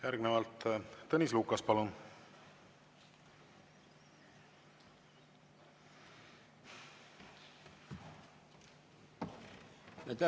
Järgnevalt Tõnis Lukas, palun!